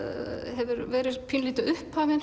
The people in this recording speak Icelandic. hefur verið pínulítið upphafinn